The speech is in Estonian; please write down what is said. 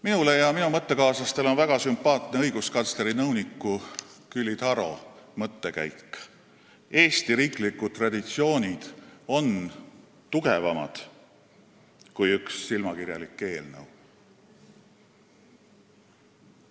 Minule ja minu mõttekaaslastele on väga sümpaatne õiguskantsleri nõuniku Külli Taro mõttekäik, et Eesti riiklikud traditsioonid on tugevamad kui üks silmakirjalik eelnõu.